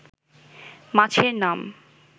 মাছের নাম